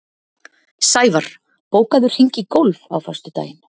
Sævarr, bókaðu hring í golf á föstudaginn.